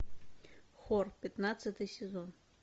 хор пятнадцатый сезон